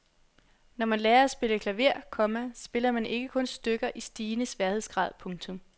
Når man lærer at spille klaver, komma spiller man ikke kun stykker i stigende sværhedsgrad. punktum